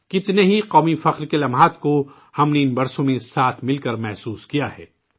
کتنے ہی قومی فخر کے لمحوں کا ہم نے ان سالوں میں ساتھ مل کر مشاہدہ کیا ہے